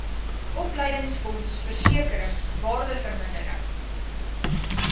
opleidingsfonds versekering waardevermindering